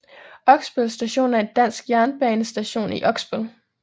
Oksbøl Station er en dansk jernbanestation i Oksbøl